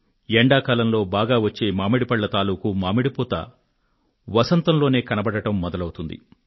ఎండాకాలంలో బాగా వచ్చే మామిడి పళ్ళ తాలూకూ మామిడి పూత వసంతంలోనే కనబడడం మొదలవుతుంది